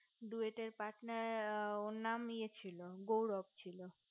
duet এ টের partner ওর নাম ইয়ে ছিল গৌরব ছিল